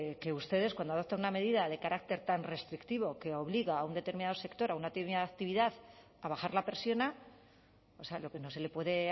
que ustedes cuando adoptan una medida de carácter tan restrictivo que obliga a un determinado sector a una determinada actividad a bajar la persiana o sea lo que no se le puede